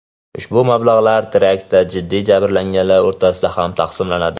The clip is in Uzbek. Ushbu mablag‘lar teraktlarda jiddiy jabrlanganlar o‘rtasida ham taqsimlanadi.